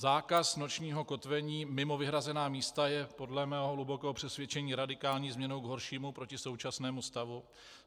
Zákaz nočního kotvení mimo vyhrazená místa je podle mého hlubokého přesvědčení radikální změnou k horšímu proti současnému stavu.